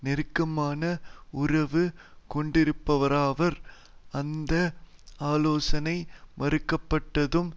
நெருக்கமான உறவு கொண்டிருப்பவராவர் அந்த ஆலோசனை மறுக்கப்பட்டதும்